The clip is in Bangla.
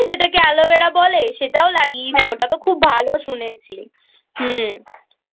যেটাকে Aloevera বলে সেটাও লাগিয়েছি ওটা খুব ভালো শুনেছি। হুম